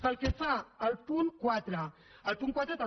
pel que fa al punt quatre el punt quatre també